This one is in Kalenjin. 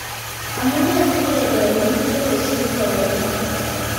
Amunee sikee pel muswek kosir kekonor?